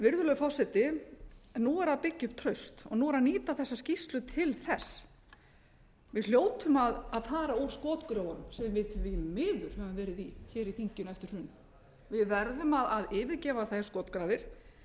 virðulegur forseti nú er að byggja upp traust og nú er að nýta þessa skýrslu til þess við hljótum að fara úr skotgröfunum sem við því miður höfum verið í hér í þinginu eftir hrun við verðum að yfirgefa þær skotgrafir við